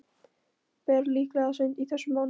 Ber líklega seint í þessum mánuði.